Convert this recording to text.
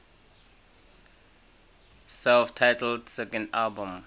self titled second album